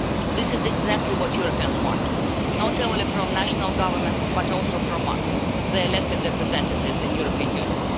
This is exactly what Europeans want, not only from national governments but also from us, the elected representatives in the European Union.